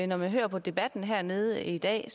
når man hører på debatten hernede i dag